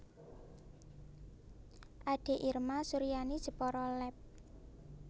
Ade Irma Suryani Jepara Lab